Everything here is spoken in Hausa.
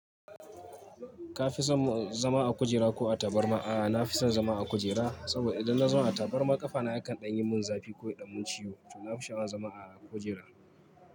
Ka fi son zama a kujera ko a tabarma? A'a, na fi son zama a kujera saboda idan na zauna a tabarma ƙafa na yakan ɗan yi mun zafi ko ya ɗan mun ciwo, to na fi sha'awar zama a kujera.